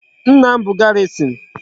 Nna bu garrison